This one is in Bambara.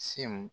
Sew